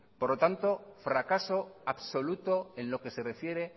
por lo tanto fracaso absoluto en lo que se refiere